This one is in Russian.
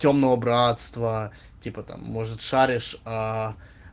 тёмного братства типа там может шаришь аа